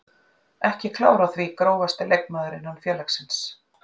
Ekki klár á því Grófasti leikmaður innan félagsins?